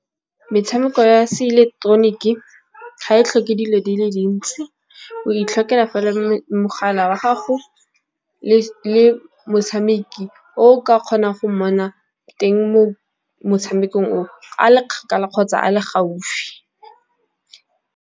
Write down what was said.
Metshameko ya se ileketeroniki ga e tlhoke dilo di le dintsi, o itlhokela fela mogala wa gago le motshameki o ka kgonang go mmona teng mo motshamekong o a le kgakala kgotsa a le gaufi.